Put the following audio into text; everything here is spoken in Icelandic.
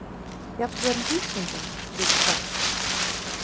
Jafnvel vísindin vita fátt.